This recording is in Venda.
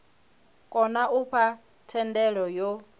kona u fha thendelo yo